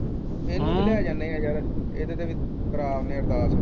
ਏਹਨੂੰ ਵੀ ਲੈ ਜਾਨੇ ਆ ਯਾਰ ਏਹਦੇ ਤੇ ਵੀ ਕਰਾ ਦਨੇ ਅਰਦਾਸ